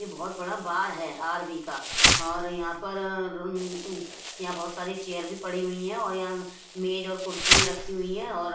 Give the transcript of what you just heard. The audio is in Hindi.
यह बहुत बड़ा बार है आर_वी का और यहां पर अ रन अ यहां बहुत सारी चेय भी पड़ी हुई है और यहां मेज और कुर्सियां रखी हुई हैं और--